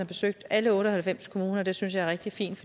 besøgt alle otte og halvfems kommuner det synes jeg er rigtig fint